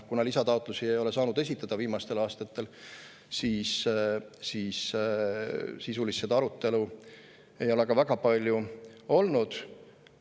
Kuna aga lisataotlusi ei ole viimastel aastatel saanud esitada, siis ei ole ka sisulist arutelu väga palju olnud.